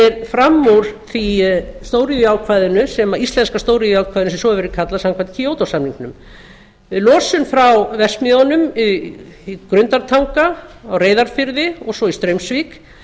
stefnir fram úr íslenska stóriðjuákvæðinu sem svo hefur verið kallað samkvæmt kyoto samningnum losun frá verksmiðjunum í grundartanga á reyðarfirði og svo í straumsvík